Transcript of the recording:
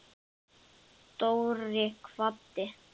Dóri kvaddi.